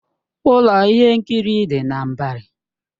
Ụlọ ihe nkiri dị na Mbari.